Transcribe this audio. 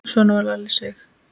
Svona var Lalli Sig.